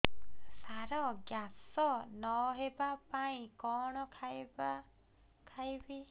ସାର gas ନ ହେବା ପାଇଁ କଣ ଖାଇବା ଖାଇବି